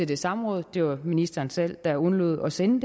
det samråd og det var ministeren selv der undlod at sende